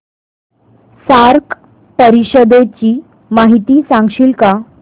SAARC परिषदेची माहिती सांगशील का